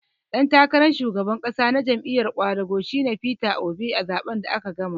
Ɗan takaran shugaban ƙasa na Jam'iyar ƙwadago shi ne Peter Obi a zaɓen da aka gama